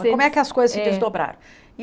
Como é que as coisas se desdobraram?